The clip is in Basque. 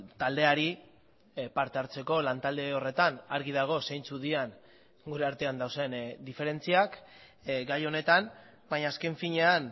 taldeari parte hartzeko lantalde horretan argi dago zeintzuk diren gure artean dauden diferentziak gai honetan baina azken finean